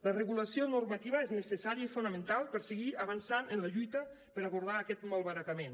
la regulació normativa és necessària i fonamental per seguir avançant en la lluita per abordar aquest malbaratament